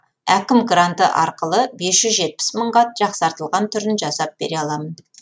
әкім гранты арқылы бес жүз жетпіс мыңға жақсартылған түрін жасап бере аламын